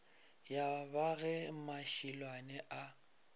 ya ba ge mašilwane a